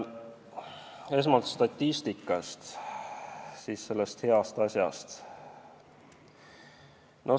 Esmalt statistikast, siis sellest heast asjast.